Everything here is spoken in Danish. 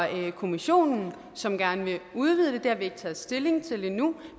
kommissionen som gerne vil udvide det det har vi ikke taget stilling til endnu